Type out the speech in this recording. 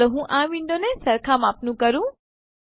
ચાલો હું આ વિન્ડોને સરખા માપનું કરું